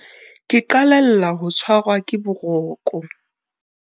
Ke qalella ho tshwarwa ke boroko.